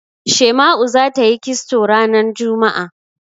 Shema'u za ta yi kisto ranar juma'a.